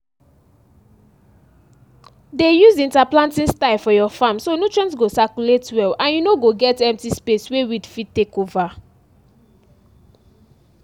dey use interplanting style for your farm so nutrients go circulate well and you no go get empty space wey weed fit take over